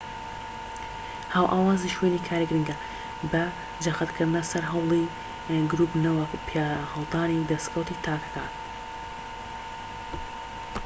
هاوئاوازی شوێنی کار گرنگە بە جەختکردنە سەر هەوڵی گروپ نەوەک پیاهەڵدانی دەسکەوتی تاکەکان